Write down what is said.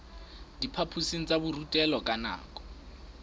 diphaphosing tsa borutelo ka nako